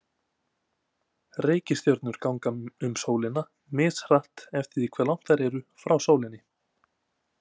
Reikistjörnurnar ganga um sólina, mishratt eftir því hve langt þær eru frá sólinni.